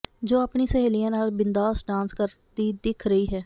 ਜੋ ਆਪਣੀ ਸਹੇਲੀਆਂ ਨਾਲ ਬਿੰਦਾਸ ਡਾਂਸ ਕਰਦੀ ਦਿੱਖ ਰਹੀ ਹੈ